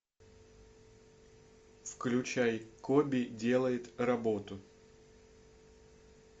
включай коби делает работу